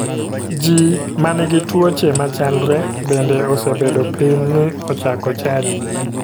Ji ma nigi tuoche machalre bende osebedo piny mi ochako chadi.